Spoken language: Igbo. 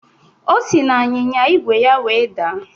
O si n'anyịnya ígwè ya wee daa